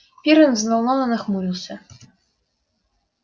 пиренн взволнованно нахмурился